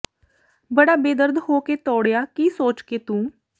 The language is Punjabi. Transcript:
ਬੜਾ ਬੇਦਰਦ ਹੋ ਕੇ ਤੋੜਿਆ ਕੀ ਸੋਚ ਕੇ ਤੂੰ